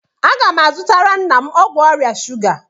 Agá m azutara nna m ọgwụ ọrịa shuga